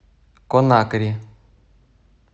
конакри